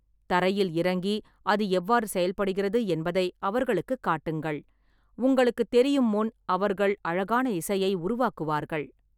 தரையில் இறங்கி, அது எவ்வாறு செயல்படுகிறது என்பதை அவர்களுக்குக் காட்டுங்கள், உங்களுக்குத் தெரியும் முன் அவர்கள் அழகான இசையை உருவாக்குவார்கள்.